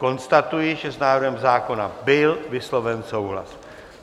Konstatuji, že s návrhem zákona byl vysloven souhlas.